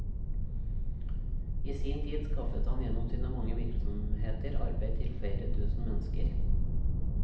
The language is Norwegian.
I sin tid skaffet han gjennom sine mange virksomheter arbeid til flere tusen mennesker.